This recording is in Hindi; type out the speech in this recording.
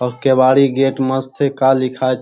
और केवाड़ी गेट मस्त है का लिखाए --